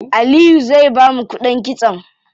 Aliyu zai bamu kuɗin kitson?